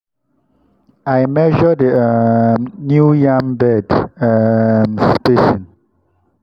i measure the um new yam bed um spacing.